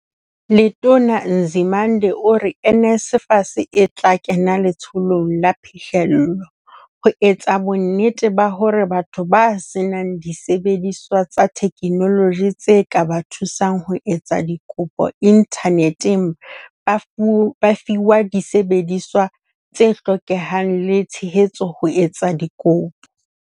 Letona Nzimande ore NSFAS e tla kena letsholong la phihlello, ho etsa bonnete ba hore batho ba senang disebediswa tsa theknoloji tse ka ba thusang ho etsa dikopo inthaneteng ba fiwa disebediswa tse hlokehang le tshehetso ho etsa dikopo.